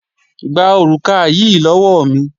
Gba òrùka yí lọ́wọ́ mi!